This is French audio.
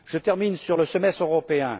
Je termine sur le semestre européen.